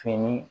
Fini